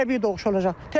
Bu təbii doğuş olacaq.